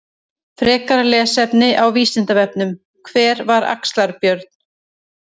Frekara lesefni á Vísindavefnum: Hver var Axlar-Björn?